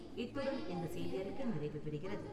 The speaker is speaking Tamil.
இத்துடன் இந்த செய்தியறிக்கை நிறைவுபெறுகிறது.